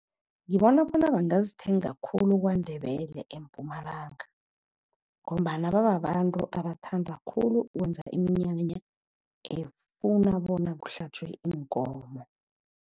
Ngibona bona bangazithenga khulu kwaNdebele eMpumalanga ngombana bababantu abathanda khulu ukwenza iminyanya efuna bona kuhlatjwe iinkomo.